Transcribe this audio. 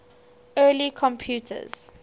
early computers